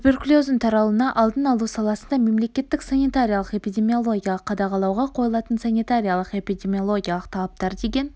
туберкулездің таралуының алдын алу саласында мемлекеттік санитариялық-эпидемиологиялық қадағалауға қойылатын санитариялық-эпидемиологиялық талаптар деген